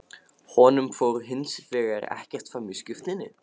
Honum fór hins vegar ekkert fram í skriftinni.